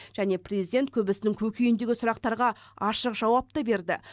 және президент көбісінің көкейіндегі сұрақтарға ашық жауап та берді